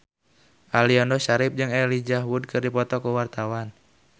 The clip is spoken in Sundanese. Aliando Syarif jeung Elijah Wood keur dipoto ku wartawan